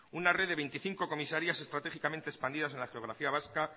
una red de veinticinco comisarías estratégicamente expandidas en la geografía vasca